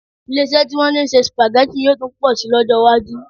Ilé-iṣẹ́ tí wọ́n ti ń se Spaghetti yóò tún pọ̀ síi lọ́jọ́ iwájú